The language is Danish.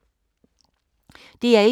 DR1